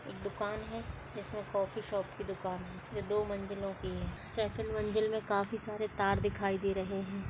एक दुकान है जिसमें कॉफी शॉप की दुकान है जो दो मंज़िलों की है सेकंड मंजिल मे काफी सारे तार दिखाई दे रहे है।